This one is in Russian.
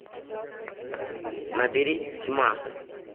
набери тьма